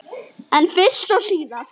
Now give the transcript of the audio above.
En fyrst og síðast.